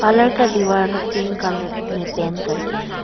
Colour का दीवार लोग पिंक कलर में पेंट कर के हैं।